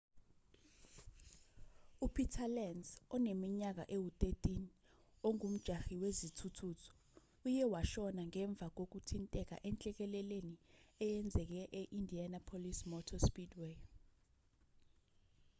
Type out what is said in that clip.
upeter lenz oneminyaka ewu-13 ongumjahi wezithuthuthu uye washona ngemva kokuthinteka enhlekeleleni eyenzeke e-indianapolis motor speedway